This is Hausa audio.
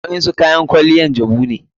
Waɗansu kayan kwaliya jabu ne.